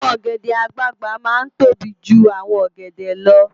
Awòn ògèdè àgbágbá má n tóbí jú áwòn ògèdè lò